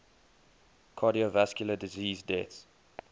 cardiovascular disease deaths